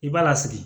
I b'a lasigi